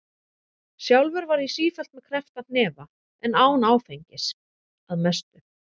Sjálfur var ég sífellt með kreppta hnefa en án áfengis- að mestu.